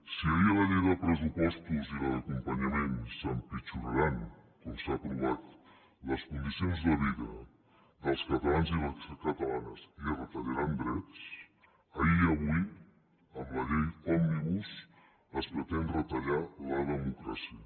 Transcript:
si ahir amb la llei de pressupostos i la d’acompanyament s’empitjoraran com s’han aprovat les condicions de vida dels catalans i les catalanes i es retallaran drets ahir i avui amb la llei òmnibus es pretén retallar la democràcia